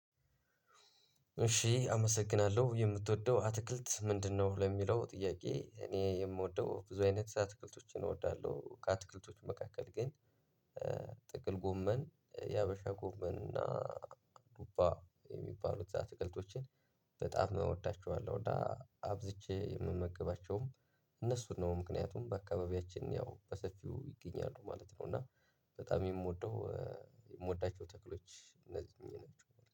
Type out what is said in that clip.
እሺ አመሰግናለሁ የምትወደው አትክልት ምንድነው? ለሚለው ጥያቄ እኔ የምወደው ብዙ አይነት አትክልቶችን እወዳለሁ። ከአትክልቶች መካከል ግን ጥቅል ጎመን የሀበሻ ጎመን እና ዱባ የሚባሉት አትክልቶችን በጣም እወዳቸዋለሁ። እና አብዝቼ የምመግባቸውም እነሱን ነው ምክንያቱም በአካባቢያችን ያው በሰፊው ይገኛሉ ማለት ነው። እና በጣም የምወደው የምወዳቸው ተክሎች እነዚህ ናቸው